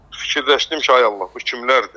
Fikirləşdim ki, ay Allah, bu kimlərdir?